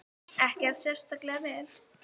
Ekkert sérstaklega vel.